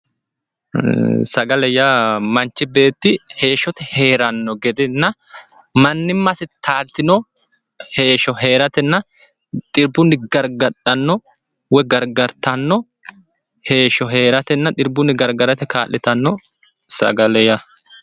Sagale yaa manchi beetti heeshshote heerano gedenna manimasi taalitino heeshsho heeratenna xibbunni gargadhano woyi gargarittano heeshsho heeratenna xibbunni gargarate kaa'littano sagale yaa